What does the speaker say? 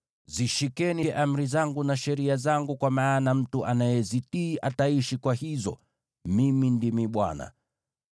Zishikeni amri zangu na sheria zangu, kwa maana mtu anayezitii ataishi kwa hizo. Mimi ndimi Bwana .